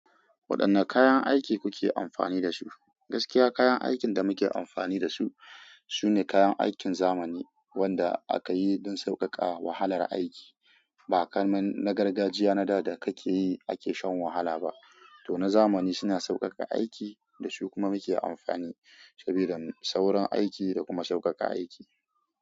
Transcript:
Waɗanne kayan aiki kuke amfani da su? Gaskiya kayan aikin da muke amfani da su, sune kayan aikin zamani wanda aka yi don sauƙaƙa wahalar aiki. Ba kamar na gargajiya na da da kake yi ake shan wahala ba. To na zamani suna sauƙaƙa aiki da su kuma muke amfani saboda saurin aiki da kuma sauƙaƙa aiki.